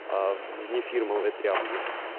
а вне фирменые тряпки